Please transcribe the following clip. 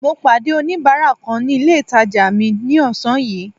Mo pàdé oníbárà kan ní ilé ìtàjà mi ní ọ̀sán yìí.